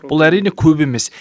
бұл әрине көп емес